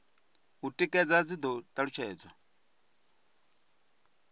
u tikedza dzi do talutshedzwa